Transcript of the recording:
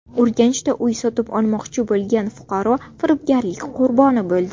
Urganchda uy sotib olmoqchi bo‘lgan fuqaro firibgarlik qurboni bo‘ldi.